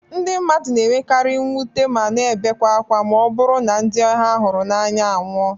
Ndị mmadụ na-enwekari mwute ma na ebekwe ákwá ma ọ bụrụ na ndị ha hụrụ n'anya anwụọ